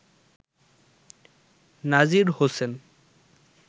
Nazir Hossain